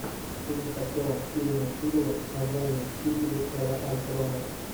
фильм с актером стивеном сигалом с названием мстители эра альтрона